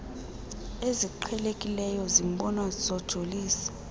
eziqhelekileyo zibonwa zojolise